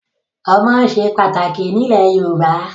Ọmọ ṣe pàtàkì ní ilẹ̀ Yorùbá.